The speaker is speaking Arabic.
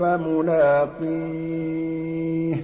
فَمُلَاقِيهِ